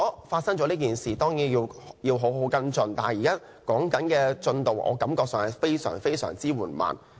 發生了這件事情，當然要好好跟進，但我感到現時的進度非常緩慢。